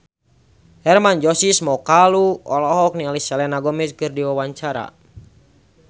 Hermann Josis Mokalu olohok ningali Selena Gomez keur diwawancara